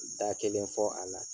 Da kelen fɔ a la.